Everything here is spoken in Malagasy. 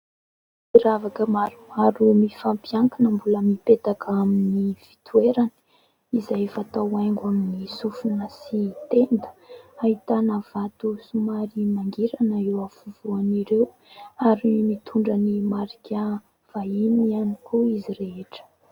Firavaka maromaro mifampiankina mbola mipetaka amin'ny fitoerany izay fatao haingo amin'ny sofona sy tenda. Ahitana vato somary mangirana eo afovoan'ireo ary mitondra ny marika vahiny ihany koa izy rehetra.